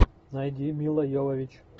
найди мила йовович